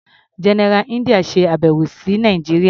General India ṣe àbẹ̀wò sí Nàìjíría.